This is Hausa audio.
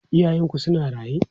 Iyayenku suna raye?